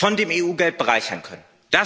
von dem EU Geld bereichern können.